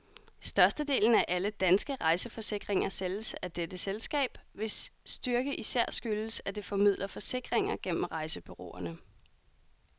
Størstedelen af alle danske rejseforsikringer sælges af dette selskab, hvis styrke især skyldes, at det formidler forsikringer gennem rejsebureauerne.